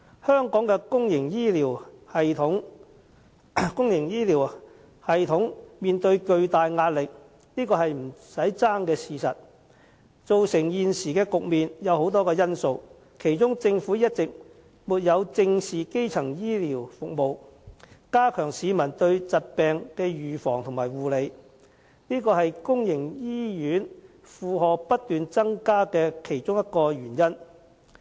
香港的公營醫療系統面對巨大壓力是不爭的事實，造成現時的局面有很多因素，政府一直沒有正視基層醫療服務，加強市民對疾病的預防及護理，是公營醫院負荷不斷增加的其中一個原因。